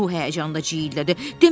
Ruh həyəcanında ciyirlədi.